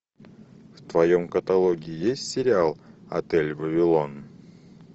в твоем каталоге есть сериал отель вавилон